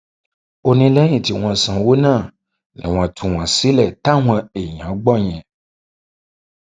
ó ní lẹyìn tí wọn sanwó náà ni wọn tú wọn sílẹ táwọn èèyàn gbọ yẹn